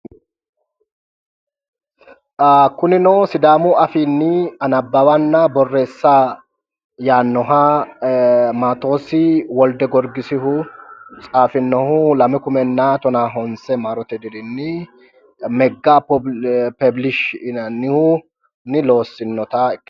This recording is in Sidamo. Kunino sidaamu afiinni nabbawanna borreessa yaannoha maatos woldegorgisihu tsaafinohu 2019 maarote dirinni megga peebiliishi yinannihunni looasinnota